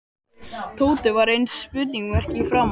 Tóti varð eins og spurningarmerki í framan.